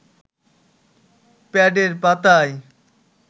প্যাডের পাতায়